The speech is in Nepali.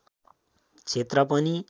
क्षेत्र पनि